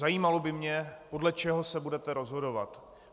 Zajímalo by mě, podle čeho se budete rozhodovat.